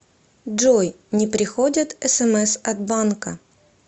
джой не приходят смс от банка